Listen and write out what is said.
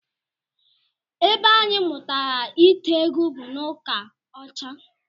Ebe anyị mụtara ite egwu bụ n'ụka ọcha